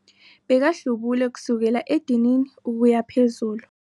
Bekahlubule kusukela edinini ukuya phezulu.